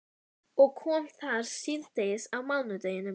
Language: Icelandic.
Og kom þar síðdegis á mánudeginum.